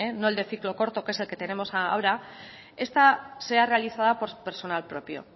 no el de ciclo corto que es el que tenemos ahora esta sea realizada por su personal propio